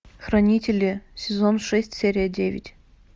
хранители сезон шесть серия девять